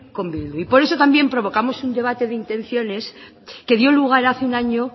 con bildu por eso también provocamos un debate de intenciones que dio lugar hace un año